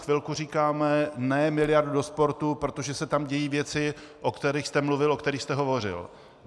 Chvilku říkáme ne miliardu do sportu, protože se tam dějí věcí, o kterých jste mluvil, o kterých jste hovořil.